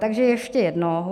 Takže ještě jednou.